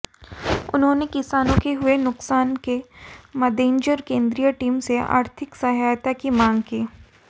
उन्होंने किसानों को हुए नुकसान के मद्देनजर केंद्रीय टीम से आर्थिक सहायता की मांग की